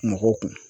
Mɔgɔw kun